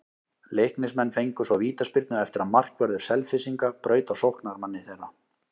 Leiknismenn fengu svo vítaspyrnu eftir að markvörður Selfyssinga braut á sóknarmanni þeirra.